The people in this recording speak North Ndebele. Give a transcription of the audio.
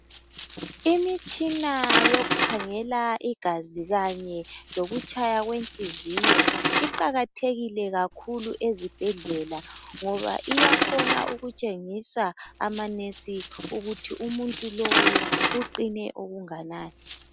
Imitshina yokukhangela igazi kanye lokutshaya kwenhliziyo iqakathekile kakhulu ezibhedlela ngoba iyakhona ukutshengisa amanesi ukuthi umuntu lowu uqine okunganani.